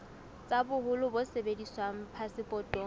tsa boholo bo sebediswang phasepotong